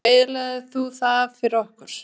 Af hverju eyðilagðir þú það fyrir okkur?